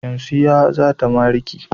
Shamsiyya zata mariki.